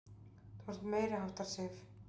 Þú ert meiriháttar, Sif!